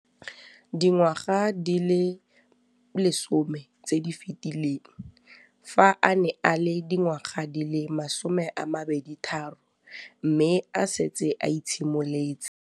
Dingwaga di le 10 tse di fetileng, fa a ne a le dingwaga di le 23 mme a setse a itshimoletse